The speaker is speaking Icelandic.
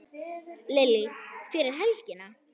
Lillý: Fyrir helgina?